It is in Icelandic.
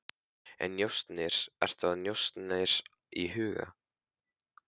En njósnir, ertu með njósnir í huga?